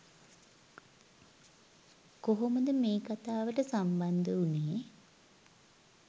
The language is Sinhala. කොහොමද මේ කතාවට සම්බන්ධ උනේ